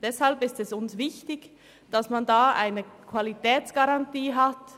Deshalb ist es uns wichtig, dass man hier eine Qualitätsgarantie hat.